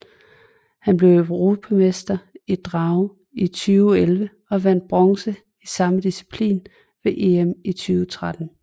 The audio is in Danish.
Han blev europamester i drage i 2011 og vandt bronze i samme disciplin ved EM i 2013